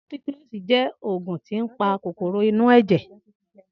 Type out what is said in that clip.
Ampikilosi je oògùn tí ń pa kòkòrò inú èjè